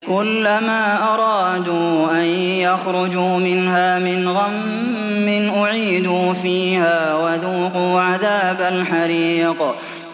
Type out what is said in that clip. كُلَّمَا أَرَادُوا أَن يَخْرُجُوا مِنْهَا مِنْ غَمٍّ أُعِيدُوا فِيهَا وَذُوقُوا عَذَابَ الْحَرِيقِ